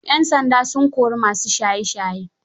Yan sanda sun kori masu shaye shayen